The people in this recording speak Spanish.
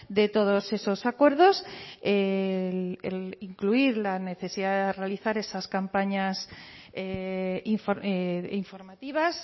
de todos esos acuerdos el incluir la necesidad de realizar esas campañas informativas